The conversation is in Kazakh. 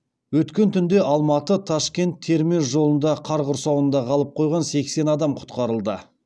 өткен түнде алматы ташкент термез жолында қар құрсауында қалып қойған сексен адам құтқарылды